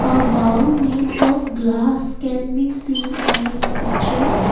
a bowl made of glass can be seen in this picture.